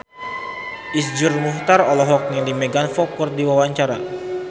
Iszur Muchtar olohok ningali Megan Fox keur diwawancara